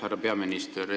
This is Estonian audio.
Härra peaminister!